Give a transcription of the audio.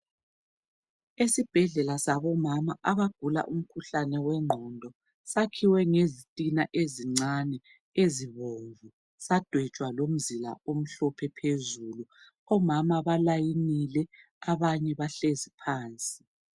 Esibhendlela sabomama abagula umkhuhlane wegqondo sakhiwe ngezitina ezincane ezibomvu sadwetshwa lomzila omhlophe phezulu omama balayinile abanye bahlezi phansi.